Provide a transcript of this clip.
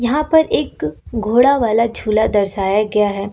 यहां पर एक घोड़ा वाला झूला दर्शाया गया है।